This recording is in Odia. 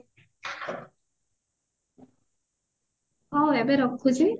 ମୁଁ ଏବେ ରଖୁଛି